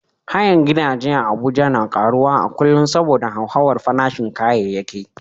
Hayan gidaje a Abuja na karuwa a kullum saboda hauhawar farashin kayayyaki.